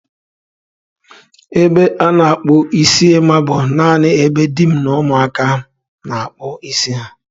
Ebe a na-akpụ isi Emma bụ nanị ebe di m na ụmụaka m na-akpụ isi ha.